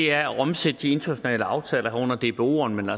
er at omsætte de internationale aftaler under dboerne